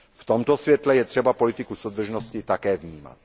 V tomto světle je třeba politiku soudržnosti také vnímat.